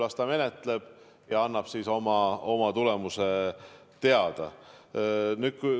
Las ta menetleb ja annab siis oma tulemuse teada.